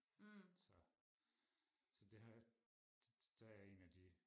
så så det har der er jeg en af de